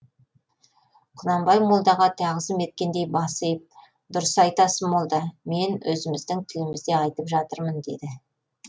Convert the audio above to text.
құнанбай молдаға тағзым еткендей бас иіп дұрыс айтасыз молда мен өзіміздің тілімізде айтып жатырмын деді